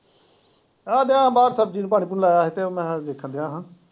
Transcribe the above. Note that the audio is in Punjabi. ਸਬਜ਼ੀ ਨੂੰ ਪਾਣੀ ਪੂਣੀ ਲਾਇਆ ਸੀ ਤੇ ਉਹ ਮੈਂ ਵੇਖਣਡਿਆ ਹਾਂ।